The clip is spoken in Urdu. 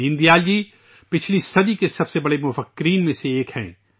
دین دیال جی پچھلی صدی کے عظیم مفکرین میں سےایک ہیں